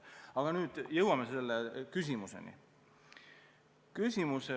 Aga nüüd jõuan teie küsimuseni.